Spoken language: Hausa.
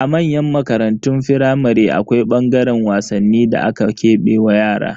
A manyan makarantun firamare, akwai ɓangaren wasanni da aka kebe wa yara.